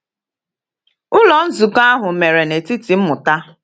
Ụlọ nzukọ ahụ mere n’etiti mmụta.